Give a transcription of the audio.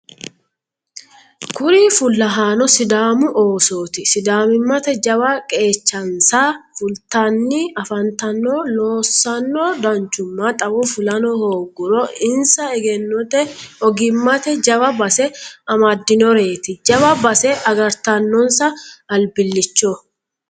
Kuri fullahano sidaamu oosoti sidaamimmate jawa qeechansa fultanni afantano loosano danchuma xawo fulano hooguuro insa egennote ogimate jawa base amadinoreti jawa base agartanonsa albilicho.